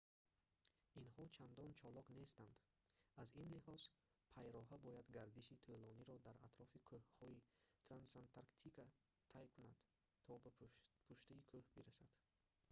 инҳо чандон чолок нестанд аз ин лиҳоз пайроҳа бояд гардиши тӯлониро дар атрофи кӯҳҳои трансантарктика тай кунад то ба пуштаи кӯҳ бирасад